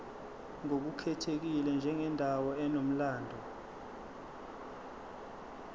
ngokukhethekile njengendawo enomlando